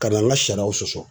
Ka na an ka sariyaw sɔsɔ;